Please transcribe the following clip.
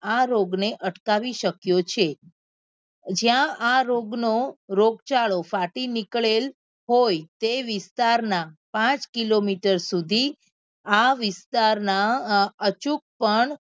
આ રોગ ને અટકાવી શક્યો છે જ્યાં આ રોગ નો રોગચાળો ફાટી નીકળેલ હોય તે વિસ્તાર ના પાંચ કિલોમીટર સુધી આ વિસ્તાર ના અચૂકપણ